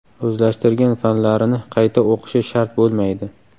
O‘zlashtirgan fanlarini qayta o‘qishi shart bo‘lmaydi.